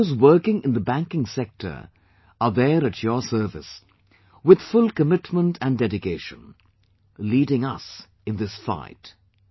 And those working in the banking sector are there at your service with full commitment and dedication leading us in this fight